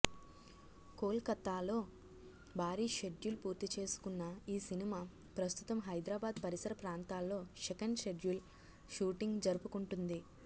కొలకత్తాలో భారీ షెడ్యుల్ పూర్తి చేసుకున్న ఈ సినిమా ప్రస్తుతం హైదరాబాద్ పరిసర ప్రాంతాల్లో సెకండ్ షెడ్యుల్ షూటింగ్ జరుపుకుంటుంది